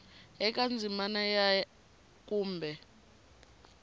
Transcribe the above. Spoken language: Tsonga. eka ndzimana ya a kumbe